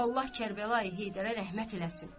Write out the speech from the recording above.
Allah Kərbəlayı Heydərə rəhmət eləsin.